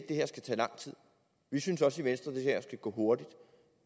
det her skal tage lang tid vi synes også i venstre at det her skal gå hurtigt